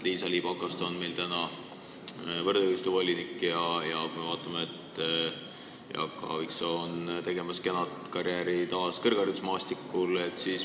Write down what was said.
Liisa-Ly Pakosta on meil võrdõiguslikkuse volinik ja Jaak Aaviksoo teeb taas kena karjääri kõrgharidusmaastikul.